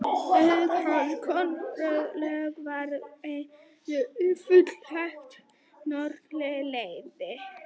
Áhuga hans á könnun norðurslóða var þó engan veginn fullnægt, norðurpóllinn heillaði.